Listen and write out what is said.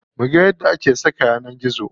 Muga yadda ake saka yanar gizo.